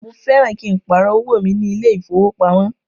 Mo fẹ́ran kí n pàrọ̀ owó mi ní ilé ìfowópamọ́